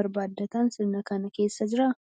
barbaaddatan sirna kana keessa jiraa?